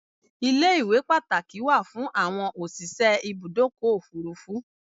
Ilé-iwé Pàtàkì wà fún àwọn òsìse Ibùdọ́kọ̀ òfúrufú